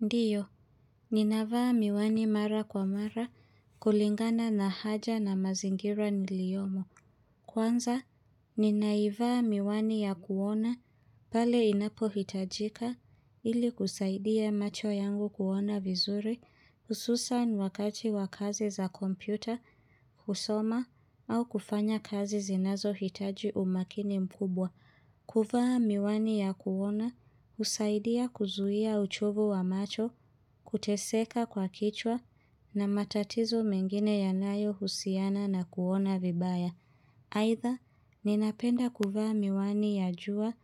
Ndiyo, ninavaa miwani mara kwa mara, kulingana na haja na mazingira niliyomo. Kwanza, ninaivaa miwani ya kuona, pale inapo hitajika, ili kusaidia macho yangu kuona vizuri, hususani wakati wa kazi za kompyuta, kusoma, au kufanya kazi zinazo hitaji umakini mkubwa. Kufaa miwani ya kuona usaidia kuzuia uchovu wa macho kuteseka kwa kichwa na matatizo mengine ya nayo husiana na kuona vibaya. Aidha, ninapenda kufaa miwani ya jua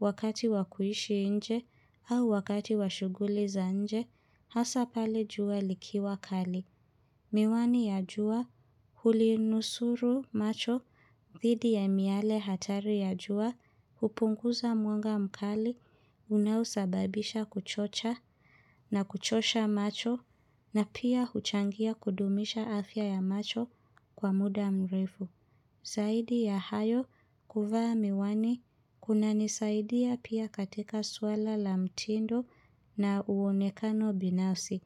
wakati wakuishi inje au wakati washuguli za nje hasa pale jua likiwa kali. Miwani ya jua huli nusuru macho, dhidi ya miale hatari ya jua, hupunguza mwanga mkali, unaosababisha kuchocha na kuchosha macho na pia huchangia kudumisha afya ya macho kwa muda mrefu. Kwani kunanisaidia pia katika swala la mtindo na uonekano binafsi,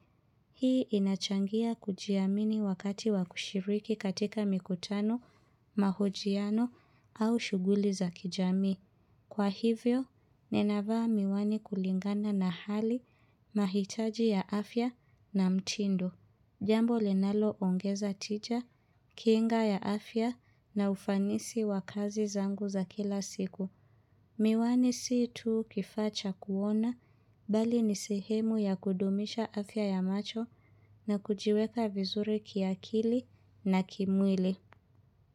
hii inachangia kujiamini wakati wakushiriki katika mikutano, mahojiano au shuguli za kijami. Kwa hivyo, ninavaa miwani kulingana na hali mahitaji ya afya na mtindo. Jambo linalo ongeza tija, kinga ya afya na ufanisi wa kazi zangu za kila siku. Miwani sii tu kifaa cha kuona, bali ni sehemu ya kudumisha afya ya macho na kujiweka vizuri kiakili na kimwili.